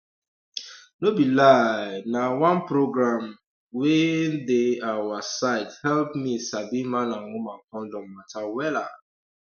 no be lie na oneprogram um wey dey awa side help me sabi man and woman condom matter wella